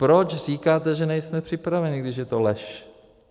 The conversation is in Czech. Proč říkáte, že nejsme připraveni, když je to lež?